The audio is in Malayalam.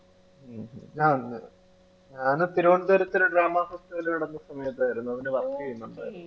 ഉം ഉം ആഹ് ഞാന് തിരുവന്തപുരത്തു ഒരു drama festival നടന്ന സമയത്തായിരുന്നു അതിനു work ചെയ്യുന്നുണ്ടായിരുന്ന്